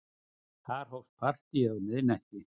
Þar hófst partíið um miðnætti.